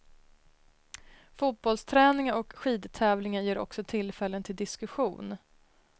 Fotbollsträningar och skidtävlingar ger också tillfällen till diskussion.